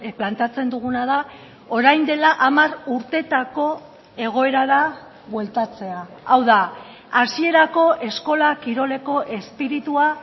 planteatzen duguna da orain dela hamar urteetako egoerara bueltatzea hau da hasierako eskola kiroleko espiritua